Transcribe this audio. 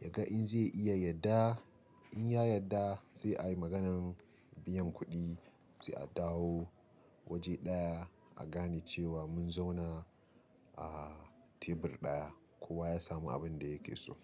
ya ga in zai iya yadda. In ya yadda, sai a yi maganan biyan kuɗi, sai a dawo waje ɗaya, a gane cewa mun zauna a tebur ɗaya, kowa ya samu abin da yake so.